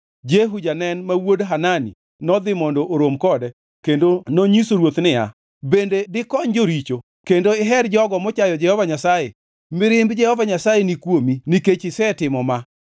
Jehu janen ma wuod Hanani nodhi mondo orom kode kendo nonyiso ruoth niya, “Bende dikony joricho kendo iher jogo mochayo Jehova Nyasaye? Mirimb Jehova Nyasaye ni kuomi nikech isetimo ma.